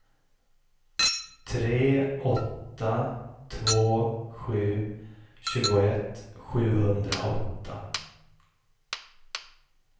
tre åtta två sju tjugoett sjuhundraåtta